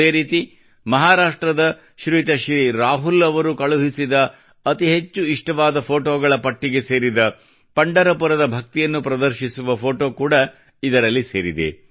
ಅದೇ ರೀತಿ ಮಹಾರಾಷ್ಟ್ರದ ಶ್ರೀಯುತರಾದ ಶ್ರೀ ರಾಹುಲ್ ಅವರು ಕಳುಹಿಸಿದ ಅತಿ ಹೆಚ್ಚು ಇಷ್ಟವಾದ ಫೋಟೋಗಳ ಪಟ್ಟಿಗೆ ಸೇರಿದ ಪಂಢರಪುರದ ಭಕ್ತಿಯನ್ನು ಪ್ರದರ್ಶಿಸುವ ಫೋಟೋ ಕೂಡಾ ಇದರಲ್ಲಿ ಸೇರಿದೆ